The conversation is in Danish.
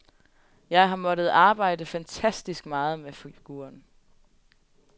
Jeg har måttet arbejde fantastisk meget med figuren.